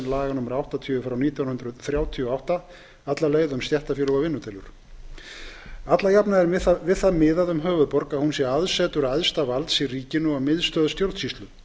laga númer áttatíu nítján hundruð þrjátíu og átta um stéttarfélög og vinnudeilur allajafna er við það miðað um höfuðborg að hún sé aðsetur æðsta valds í ríkinu og miðstöð stjórnsýslu